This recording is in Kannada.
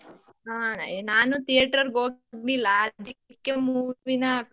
ಹಾ ನಾನು theatre ಗೆ ಹೋಗಿರ್ಲಿಲ್ಲ ಅದ್ಕೆ movie ನ,